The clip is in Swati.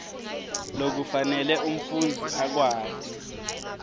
lokufanele umfundzi akwati